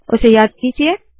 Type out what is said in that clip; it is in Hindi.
उसे याद कीजिये